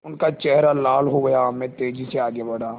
उनका चेहरा लाल हो गया मैं तेज़ी से आगे बढ़ा